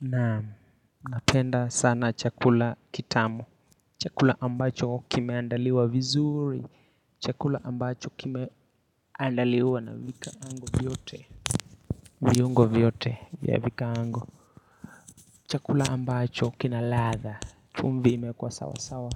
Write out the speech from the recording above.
Naam, napenda sana chakula kitamu Chakula ambacho kimeandaliwa vizuri Chakula ambacho kimeandaliwa na vikaango vyote viungo vyote ya vikaango Chakula ambacho kina ladha chumvi imeekwa sawa sawa